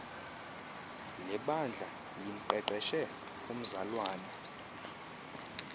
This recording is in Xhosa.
lebandla limqeqeshe umzalwana